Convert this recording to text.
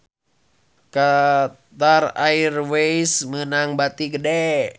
Qatar Airways meunang bati gede